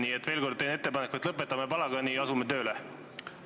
Nii et teen veel kord ettepaneku: lõpetame palagani ja asume tööle!